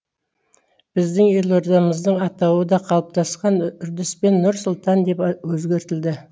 біздің елордамыздың атауы да қалыптасқан үрдіспен нұр сұлтан деп өзгертілді